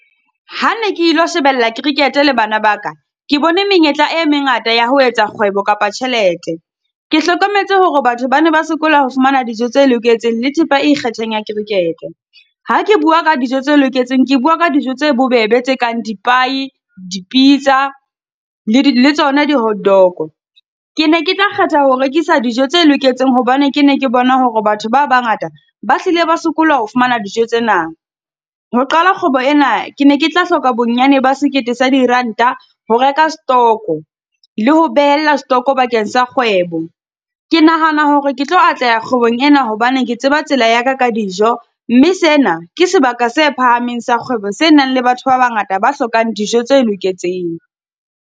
Ha ne ke lo shebella cricket-e le bana ba ka, ke bone menyetla e mengata ya ho etsa kgwebo kapa tjhelete. Ke hlokometse hore batho ba na ba sokola ho fumana dijo tse loketseng le thepa e ikgethang ya cricket-e. Ha ke bua ka dijo tse loketseng, ke bua ka dijo tse bobebe tse kang di-pie, di-pizza le di le tsona di-hot dog-o. Ke ne ke tla kgetha ho rekisa dijo tse loketseng hobane ke ne ke bona hore batho ba bangata ba hlile ba sokola ho fumana dijo tsena. Ho qala kgwebo ena, ke ne ke tla hloka bonyane ba sekete sa diranta, ho reka setoko, le ho behella setoko bakeng sa kgwebo. Ke nahana hore ke tlo atleha kgwebong ena hobane ke tseba tsela ya ka ka dijo, mme sena ke sebaka se phahameng sa kgwebo se nang le batho ba bangata ba hlokang dijo tse loketseng.